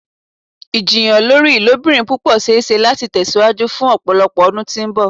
Ijiyàn lori ilobirin pupọ ṣee ṣe lati tẹsiwaju fun ọpọlọpọ ọdun ti mbọ.